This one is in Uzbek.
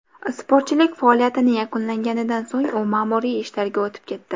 Sportchilik faoliyatini yakunlaganidan so‘ng u ma’muriy ishlarga o‘tib ketdi.